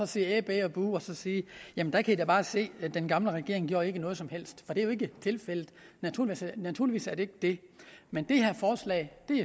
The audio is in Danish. sige æh bæh buh og så sige jamen der kan i da bare se den gamle regering gjorde ikke noget som helst for det er jo ikke tilfældet naturligvis er det ikke det men det her forslag